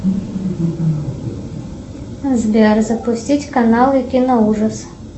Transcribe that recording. сбер запустить каналы кино ужас